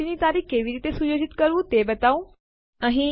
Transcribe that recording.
તે ફાઈલ અથવા ડિરેક્ટરી નું નામ બદલવા માટે વપરાય છે